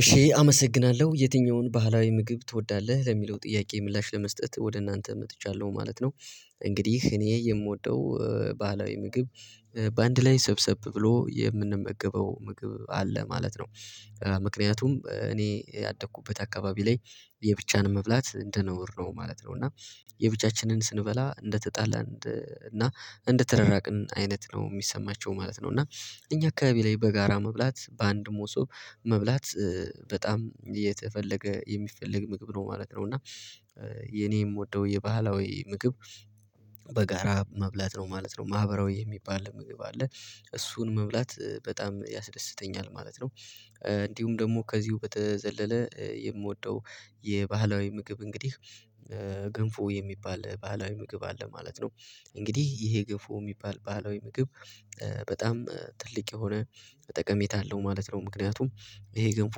እሺ አመሰግናለሁ የትኛውን ባህላዊ ምግብ ትወዳለህ? ለሚለው ጥያቄ ምላሽ ለመስጠት ወደ እናንተ መጥቻለሁ ማለት ነው። እንግዲህ እኔ የምወደው ባህላዊ ምግብ በአንድ ላይ ሰብሰብ ብሎ የምንመገበው ምግብ አለ ማለት ነው። ምክንያቱም እኔ ያደኩበት አካባቢ ላይ የብቻን መብላት እንደነውር ነው ማለት ነው። እና የብቻችንን ስንበላ እንደተጣላ እንደ እና እንደተረራቅን አይነት ነው የሚሰማቸው ማለት ነው። እና እኛ አካባቢ ላይ በጋራ መብላት በአንድ ሞሶ መብላት በጣም የተፈለገ የሚፈለግ ምግብ ነው ማለት ነው እና የኔ የምወደው የባህላዊ ምግብ በጋራ መብላት ነው ማለት ነው ማህበራዊ የሚባል ምግብ አለ እሱን መብላት በጣም ያስደስተኛል ማለት ነው። እንዲሁም ደግሞ ከዚሁ በተዘለለ የምወደው የባህላዊ ምግብ እንግዲህ ገንፎ የሚባል ባህላዊ ምግብ አለ ማለት ነው። እንግዲህ ይሄ ግንፎ የሚባል ባለው ምግብ በጣም ትልቅ የሆነ ተጠቀሜታ አለው ማለት ነው ምክንያቱም ይሄ ገንፎ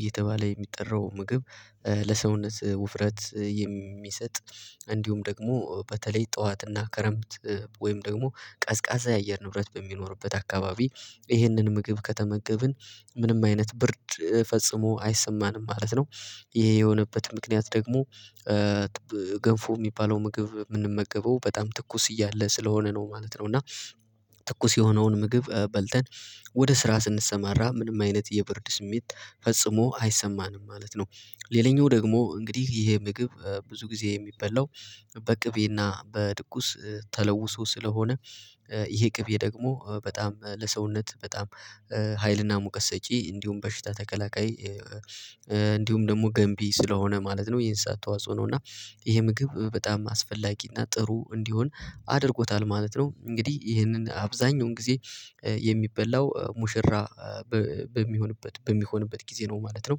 እየተባለ የሚጠራው ምግብ ለሰውነት ውፍረት የሚሰጥ እንዲሁም ደግሞ በተለይ ጠዋትና ከረምት ወይም ደግሞ ቀዝቃዛ የአየር ንብረት በሚኖርበት አካባቢ ይህንን ምግብ ከተመገብን ምንም አይነት ብርድ ፈጽሞ አይሰማንም ማለት ነው። ይሄ የሆነበት ምክንያት ደግሞ ገንፎ የሚባለው ምግብ የምንመገበው በጣም ትኩስ እያለ ስለሆነ ነው ማለት ነው እና ትኩስ የሆነውን ምግብ በልተን ወደ ስራ ስንሰማራ ምንም አይነት የብርድ ስሜት ፈጽሞ አይሰማንም ማለት ነው። ሌላኛው ደግሞ እንግዲህ ይሄ ምግብ ብዙ ጊዜ የሚበላው በቅቤና በድቁስ ተለውሶ ስለሆነ ይሄ ቅቤ ደግሞ በጣም ለሰውነት በጣም ሀይልና ሙቀት ሰጪ እንዲሁም በሽታ ተከላካይ እንዲሁም ደግሞ ገንቢ ስለሆነ ማለት ነው። የእንሣ ተዋጽኦ ነው እና ይሄ ምግብ በጣም አስፈላጊ እና ጥሩ እንዲሆን አድርጎታል ማለት ነው እንግዲህ ይሄንን አብዛኛውን ጊዜ የሚበላው ሙሽራ በሚሆንበት በሚሆንበት ጊዜ ነው ማለት ነው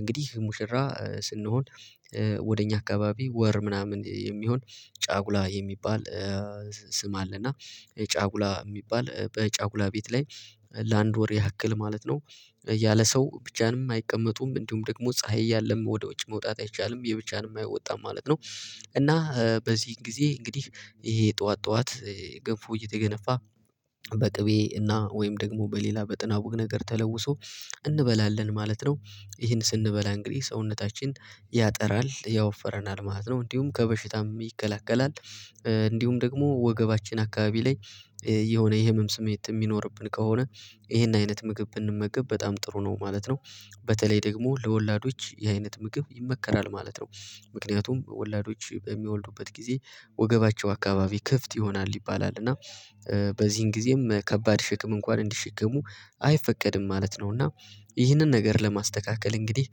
እንግዲህ ሙሽራ ስንሆን ወደ እኛ አካባቢ ወር ምናምን የሚሆን ጫጉላ የሚባል ስም አለ እና ጫጉላ የሚባል በጫጉላ ቤት ላይ ለአንድ ወር ያክል ማለት ነው። ያለ ሰው ብቻንም አይቀመጡም። እንዲሁም ደግሞ ፀሀይ እያለም ወደ ወጪ መውጣት አይቻልም። የብቻንም አይወጣም ማለት ነው። እና በዚህ ጊዜ እንግዲህ ይሄ ጠዋት ጠዋት ገንፎ እየተገነፋ በቅቤ እና ወይም ደግሞ በሌላ በጥናቡ ነገር ተለውሶ እንበላለን ማለት ነው። ይሄን ስንበላ እንግዲህ ሰውነታችን ያጠራል ያወፈረናል ማለት ነው። እንዲሁም ከበሽታም ይከለክላል እንዲሁም ደግሞ ወገባችን አካባቢ ላይ የሆነ የህመም ስሜት የሚኖርብን ከሆነ ይሄን አይነት ምግብ እንመገብ በጣም ጥሩ ነው ማለት ነው በተለይ ደግሞ ለወላዶች የአይነት ምግብ ይመከራል ማለት ነው። ምክንያቱም ወላጆች በሚወልዱበት ጊዜ ወገባቸው አካባቢ ክፍት ይሆናል ይባላል እና በዚህን ጊዜም ከባድ ሽክም እንኳን እንዲሸከሙ አይፈቀድም ማለት ነው። እና ይህንን ነገር ለማስተካከል እንግዲህ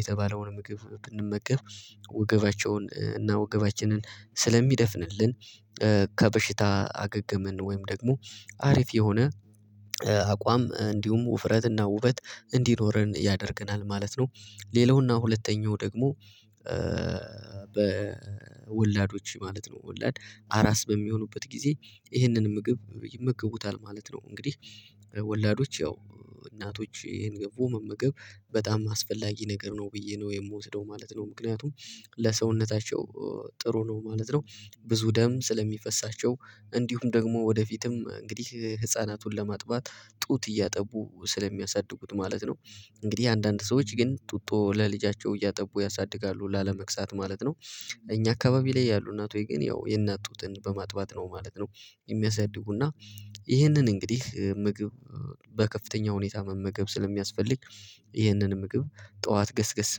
የተባለውን ምግብ ብንመገብ ውገባቸውን እና ውገባችንን ስለሚደፍንልን ከበሽታ አገገምን ወይም ደግሞ አሪፍ የሆነ አቋም እንዲሁም ውፍረትና ውበት እንዲኖረን ያደርገናል ማለት ነው። ሌላውና ሁለተኛው ደግሞ በወላዶች ማለት ነው ወላድ አራስ በሚሆኑበት ጊዜ ይህንን ምግብ ይመገቡታል ማለት ነው። እንግዲህ ወላዶች ያው እናቶች ይህን ገቡ መመገብ በጣም አስፈላጊ ነገር ነው ብዬ ነው የምወስደው ማለት ነው ምክንያቱም ለሰውነታቸው ጥሩ ነው ማለት ነው። ብዙ ደም ስለሚፈሳቸው እንዲሁም ደግሞ ወደፊትም እንግዲህ ህፃናቱን ለማጥባት ጡት እያጠቡ ስለሚያሳድጉት ማለት ነው እንግዲህ አንዳንድ ሰዎች ግን ጡቶ ለልጃቸው እያጠቡ ያሳድጋሉ ላለመቅሳት ማለት ነው እኛ አካባቢ ላይ ያሉ እናት ሆይ ግን ያው የእናቱን በማጥባት ነው ማለት ነው። የሚያሳድጉና ይህንን እንግዲህ ምግብ በከፍተኛ ሁኔታ መመገብ ስለሚያስፈልግ ይህንን ምግብ ጠዋት ገስገስ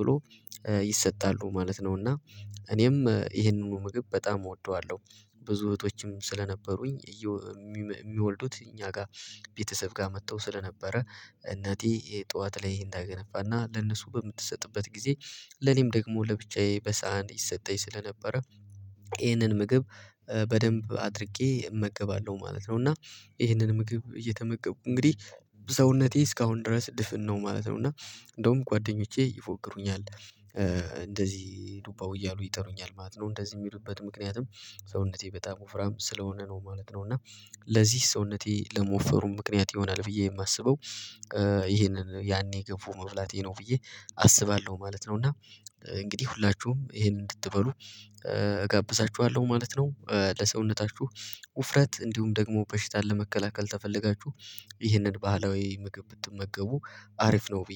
ብሎ ይሰጣሉ ማለት ነው። እና እኔም ይህንኑ ምግብ በጣም እወደዋለሁ። ብዙ እህቶችም ስለነበሩኝ የሚወልዱት እኛ ጋር ቤተሰብ ጋር መጥተው ስለነበረ እናቴ የጧት ላይ ታገነፋና ለነሱ በምትሰጥበት ጊዜ ለኔም ደግሞ ለብቻዬ በሳህን ይሰጠኝ ስለነበረ ይህንን ምግብ በደንብ አድርጌ እመገባለሁ ማለት ነው። እና ይሄንን ምግብ እየተመገብኩ እንግዲህ ሰውነቴ እስካሁን ድረስ ድፍን ነው ማለት ነው። እና እንደውም ጓደኞቼ ይፎክሩኛል እንደዚህ ዱባው እያሉ ይጠሩኛል ማለት ነው። እንደዚህ የሚሉበት ምክንያትም ሰውነቴ በጣም ወፍራም ስለሆነ ነው ማለት ነው። እና ለዚህ ሰውነቴ ለመወፈሩም ምክንያት የሆነ አልፍያ የማስበው ይሄንን ያኔ ገብቶ መብላቴ ነው ብዬ አስባለሁ ማለት ነው። እና እንግዲህ ሁላችሁም ይሄንን እንድትበሉ እጋብዛችኋለሁ ማለት ነው። ለሰውነታችሁ ውፍረት እንዲሁም ደግሞ በሽታ ለመከላከል ተፈለጋችሁ ይህንን ባህላዊ ምግብ ብትመገቡ አሪፍ ነው። ብዬ